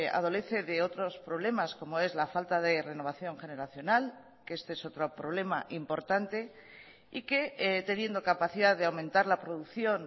adolece de otros problemas como es la falta de renovación generacional que este es otro problema importante y que teniendo capacidad de aumentar la producción